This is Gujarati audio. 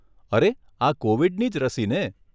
અરે આ કોવિડની જ રસી ને?